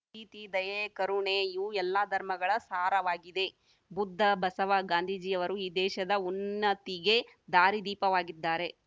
ಪ್ರೀತಿ ದಯೆ ಕರುಣೆ ಇವು ಎಲ್ಲಾ ಧರ್ಮಗಳ ಸಾರವಾಗಿದೆ ಬುದ್ದ ಬಸವ ಗಾಂಧೀಜಿಯವರು ಈ ದೇಶದ ಉನ್ನತಿಗೆ ದಾರಿ ದೀಪವಾಗಿದ್ದಾರೆ